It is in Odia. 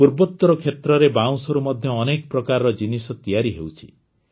ପୂର୍ବୋତର କ୍ଷେତ୍ରରେ ବାଉଁଶରୁ ମଧ୍ୟ ଅନେକ ପ୍ରକାରର ଜିନିଷ ତିଆରି ହେଉଛି